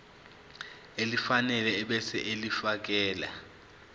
elifanele ebese ulifiakela